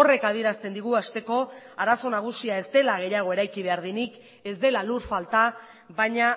horrek adierazten digu hasteko arazo nagusia ez dela gehiago eraiki behar denik ez dela lur falta baina